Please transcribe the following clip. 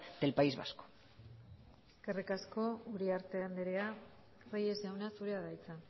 del país vasco eskerrik asko uriarte andrea reyes jauna zurea da hitza